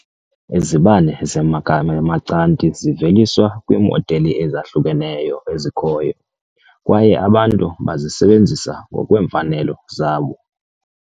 Izibane ze-Macanthi ziveliswa kwiimodeli ezahlukeneyo ezikhoyo, kwaye abantu bazisebenzisa ngokweemfanelo zabo.